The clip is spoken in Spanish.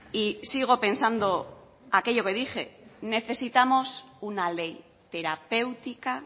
y sigo pensando aquello que dije necesitamos una ley terapéutica